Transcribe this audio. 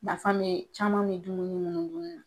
Nafa mɛ caman mɛ caman minnu dunni na.